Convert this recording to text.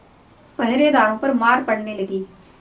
पहरेदारों पर मार पड़ने लगी